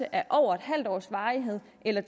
af over en halv års varighed eller